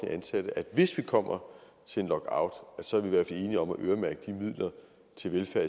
ansatte at hvis vi kommer til en lockout så er vi i hvert fald enige om at øremærke de midler til velfærd